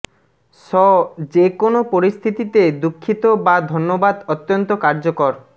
ষ যে কোনো পরিস্থিতিতে দুঃখিত বা ধন্যবাদ অত্যন্ত কার্যকর